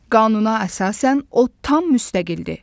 Qanuna əsasən o tam müstəqildir.